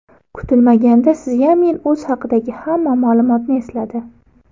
Kutilmaganda Szyamin o‘zi haqidagi hamma ma’lumotni esladi.